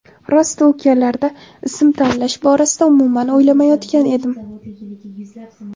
Rosti u kunlarda ism tanlash borasida umumman o‘ylamayotgan edim.